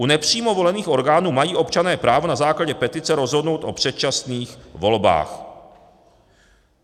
U nepřímo volených orgánů mají občané právo na základě petice rozhodnout o předčasných volbách.